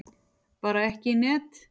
Bara ekki í net.